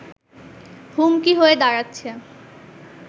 হুমকি হয়ে দাঁড়াচ্ছে